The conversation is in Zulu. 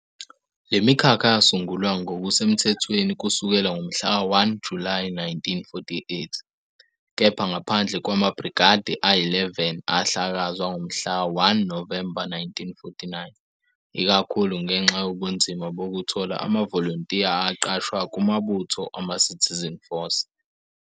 Le mikhakha yasungulwa ngokusemthethweni kusukela ngomhlaka 1 Julayi 1948, kepha ngaphandle kwamaBrigade ayi-11 ahlakazwa ngomhlaka 1 Novemba 1949, ikakhulu ngenxa yobunzima bokuthola amavolontiya aqashwa kumabutho amaCitizen Force.